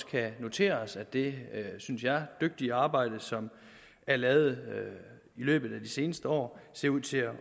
kan notere os at det synes jeg dygtige arbejde som er lavet i løbet af de seneste år ser ud til at